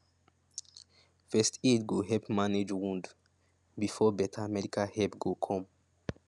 first aid go help manage wound before better medical help go come